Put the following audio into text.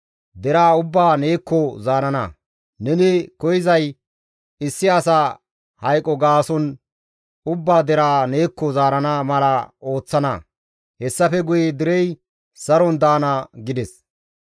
Deraa ubbaa neekko zaarana; neni koyzay issi asa hayqo gaason ubba deraa neekko zaarana mala ooththana; hessafe guye derey saron daana» gides.